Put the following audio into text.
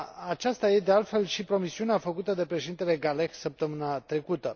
Aceasta este, de altfel, și promisiunea făcută de Președintele Guelleh săptămâna trecută.